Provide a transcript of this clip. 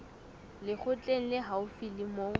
lekgotleng le haufi le moo